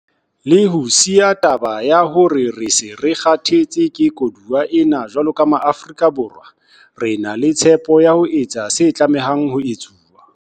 Le ho siya taba ya hore re se re 'kgathetse ke koduwa' ena, jwalo ka Maafrika Borwa, re na le tshepo ya ho etsa se tlamehang ho etswa.